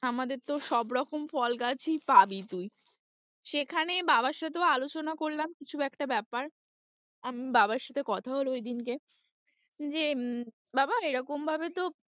আমাদের তো সবরকম ফল গাছই পাবি তুই, সেখানে বাবার সাথেও আলোচনা করলাম কিছু একটা ব্যাপার, বাবার সাথে কথা হলো ঐদিনকে যে, বাবা এরকম ভাবে তো,